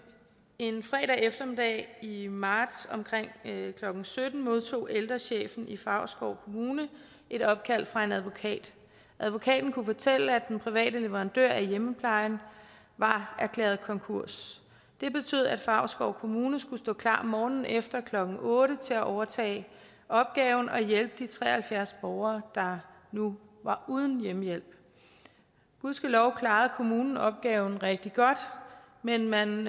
en fredag eftermiddag i i marts omkring klokken sytten modtog ældrechefen i favrskov kommune et opkald fra en advokat advokaten kunne fortælle at den private leverandør af hjemmeplejen var erklæret konkurs det betød at favrskov kommune skulle stå klar morgenen efter klokken otte til at overtage opgaven og hjælpe de tre og halvfjerds borgere der nu var uden hjemmehjælp gudskelov klarede kommunen opgaven rigtig godt men man